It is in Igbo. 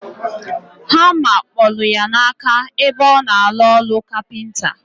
Hama kpolu ya na aka ebe ona alu olu capenta.